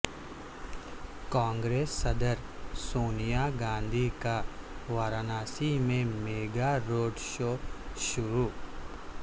کانگریس صدر سونیا گاندھی کا وارانسی میں میگا روڈ شو شروع